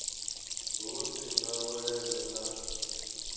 hu si na vhuleme na